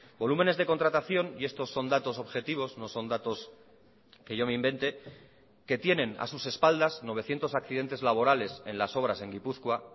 volúmenes de contratación y estos son datos objetivos no son datos que yo me invente que tienen a sus espaldas novecientos accidentes laborales en las obras en gipuzkoa